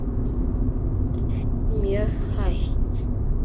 Mjög hægt.